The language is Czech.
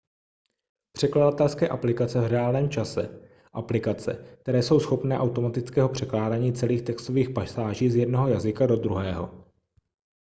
překladatelské aplikace v reálném čase aplikace které jsou schopné automatického překládání celých textových pasáží z jednoho jazyka do druhého